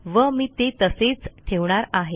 व मी ते तसेच ठेवणार आहे